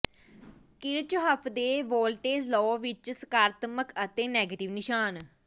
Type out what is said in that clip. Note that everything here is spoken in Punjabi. ਕਿਰਚਹਫ਼ ਦੇ ਵੋਲਟੇਜ਼ ਲਾਅ ਵਿਚ ਸਕਾਰਾਤਮਕ ਅਤੇ ਨੈਗੇਟਿਵ ਨਿਸ਼ਾਨ